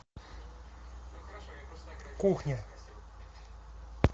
кухня